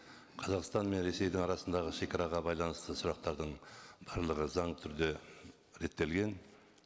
қазақстан мен ресейдің арасындағы шегараға байланысты сұрақтардың барлығы заңды түрде реттелген